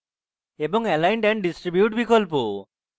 এবং align and distribute বিকল্প